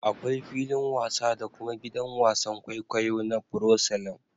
Akwai filin wasa da kuma gidan wasan kwaikwayo na proscelum